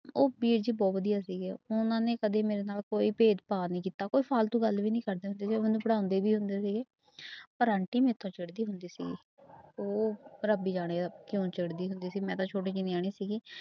ਉਹ ਵੀਰ ਜੀ ਬਹੁ ਵਧੀਆ ਸੀਗੇ ਉਹਨਾਂ ਨੇ ਕਦੇ ਮੇਰੇ ਨਾਲ ਕੋਈ ਭੇਦਭਾਅ ਨਾ ਕੀਤਾ ਕੋਈ ਫਾਲਤੂ ਗੱਲ ਵੀ ਨੀ ਕਰਦੇ ਸੀ, ਉਹ ਮੈਨੂੰ ਪੜ੍ਹਾਉਂਦੇ ਵੀ ਹੁੰਦੇ ਸੀਗੇ ਪਰ ਆਂਟੀ ਮੈਥੋਂ ਚਿੜ੍ਹਦੀ ਹੁੰਦੀ ਸੀਗੀ ਉਹ ਰੱਬ ਹੀ ਜਾਣੇ ਕਿਉਂ ਚਿੜ੍ਹਦੀ ਹੁੰਦੀ ਸੀ ਮੈਂ ਤਾਂ ਛੋਟੀ ਜਿਹੀ ਨਿਆਣੀ ਸੀਗੀ।